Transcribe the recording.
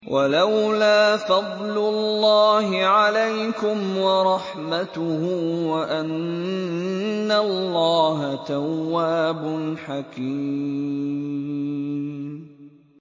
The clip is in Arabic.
وَلَوْلَا فَضْلُ اللَّهِ عَلَيْكُمْ وَرَحْمَتُهُ وَأَنَّ اللَّهَ تَوَّابٌ حَكِيمٌ